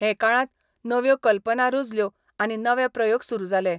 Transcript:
हे काळात नव्यो कल्पना रूजल्यो आनी नवे प्रयोग सुरू जालें.